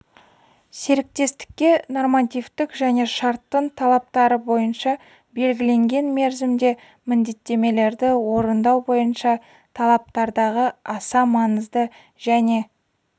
серіктестікке нормативтік және шарттың талаптары бойынша белгіленген мерзімде міндеттемелерді орындау бойынша талаптардағы аса маңыздылық және